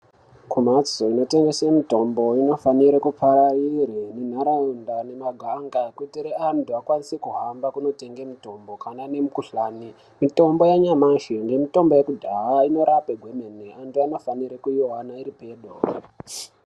Kumhatso inotengese mitombo inofanire kupararire nenharaunda nemaganga kuti antu akwanise kuhamba kunotenge mutombo kana nemukuhlani. Mitombo yanyamashi nemitombo yekudhaya inorape hwemene antu anofanira kuivana iripedo.